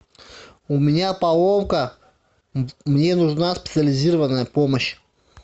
у меня поломка мне нужна специализированная помощь